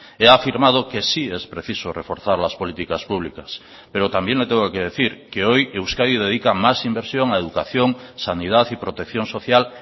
he afirmado que sí es preciso reforzar las políticas públicas pero también le tengo que decir que hoy euskadi dedica más inversión a educación sanidad y protección social